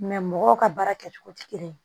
mɔgɔw ka baara kɛcogo tɛ kelen ye